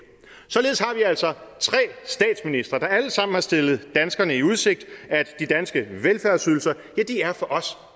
således har vi altså tre statsministre der alle sammen har stillet danskerne i udsigt at de danske velfærdsydelser er for os